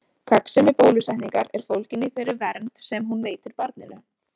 Gagnsemi bólusetningar er fólgin í þeirri vernd sem hún veitir barninu.